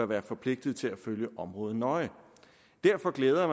være forpligtet til at følge området nøje derfor glæder